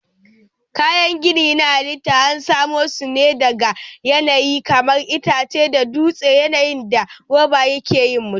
Kayan gini na halitta an samo su ne daga yanayi kamar itace da dutse yayin da roba ke yin mutum.